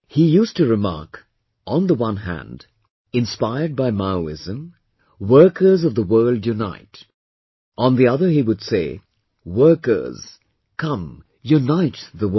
He used to remark, on the one hand, inspired by Maoism, 'Workers of the world unite', on the other he would say, workers, come, unite the world